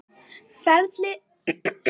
Ferlið allt tekur mörg ár.